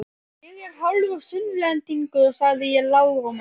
Ég er hálfur Sunnlendingur, sagði ég lágróma.